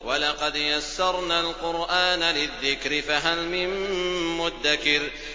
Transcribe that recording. وَلَقَدْ يَسَّرْنَا الْقُرْآنَ لِلذِّكْرِ فَهَلْ مِن مُّدَّكِرٍ